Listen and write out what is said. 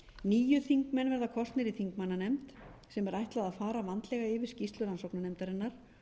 níu þingmenn verða kosnir í þingmannanefnd sem er ætlað að fara vandlega yfir skýrslu rannsóknarnefndarinnar